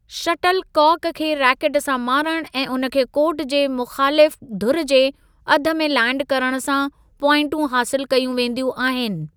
Shuttle काक खे racket सां मारणु ऐं उन खे कोर्ट जे मुख़ालिफ़ु धुरि जे अधु में लैंड करणु सां प्वाइंटूं हासिलु कयूं वेंदियूं आहिनि।